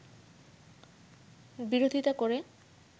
বিরোধিতা করে